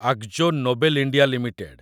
Akzo Nobel India limited